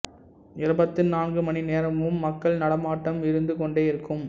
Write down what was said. இருபத்து நான்கு மணி நேரமும் மக்கள் நடமாட்டம் இருந்து கொண்டே இருக்கும்